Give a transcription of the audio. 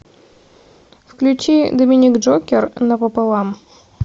включи доминик джокер напополам